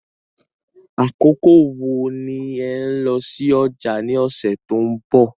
Àkókò wo ni ẹ̀ n lọ sí ọjà ni ọ̀sẹ̀ tó ń bọ̀?